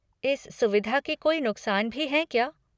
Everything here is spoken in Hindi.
इस सुविधा के कोई नुक़सान भी हैं क्या?